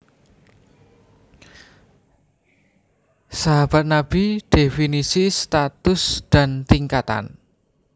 Sahabat Nabi definisi status dan tingkatan